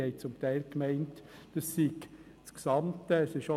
Diese haben zum Teil gemeint, die neue Regelung beziehe sich auf alle Geschäfte.